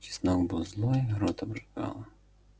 чеснок был злой рот обжигало